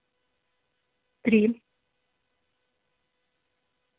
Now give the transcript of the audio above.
три